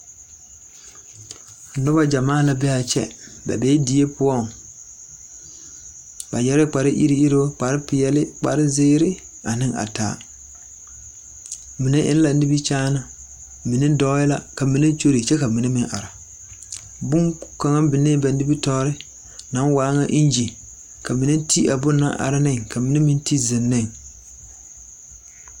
Nobɔ gyamaa la bee aa kyɛ ba bee die poɔŋ ba yɛrɛɛ kpare iruŋ iruŋ kpare peɛɛli kpare zeere ane a taa mine eŋ la nimikyaane mine dɔɔɛɛ la ka mine kyure kyɛ ka mine meŋ are bon kaŋa binee ba nimitoore naŋ waa ŋa engine ka mine te a bon na are neŋ ka mine meŋ te zeŋ neŋ.